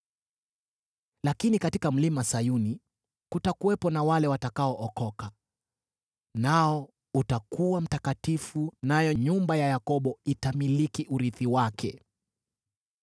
Lakini katika Mlima Sayuni kutakuwepo na wale watakaookoka; nao utakuwa mtakatifu, nayo nyumba ya Yakobo itamiliki urithi wake.